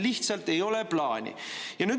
Teil lihtsalt ei ole plaani!